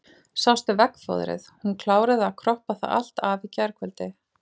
Sástu veggfóðrið, hún kláraði að kroppa það allt af í gærkvöld.